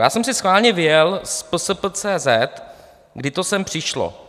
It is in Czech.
Já jsem si schválně vyjel z psp.cz, kdy to sem přišlo.